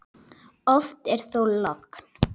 Oft er þó logn.